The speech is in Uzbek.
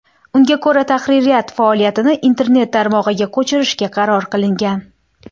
Unga ko‘ra, tahririyat faoliyatini internet tarmog‘iga ko‘chirishga qaror qilingan.